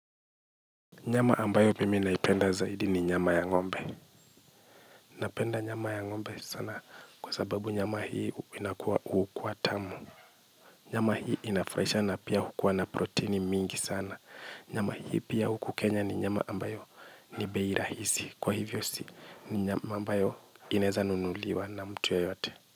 Nyama ambayo mimi naipenda zaidi ni nyama ya ngombe. Napenda nyama ya ngombe sana kwa sababu nyama hii inakuwa hukuwa tamu. Nyama hii inafraisha na pia hukuwa na proteini mingi sana. Nyama hii pia huku kenya ni nyama ambayo ni bei rahisi. Kwa hivyo si ni nyama ambayo inaeza nunuliwa na mtu yoyote.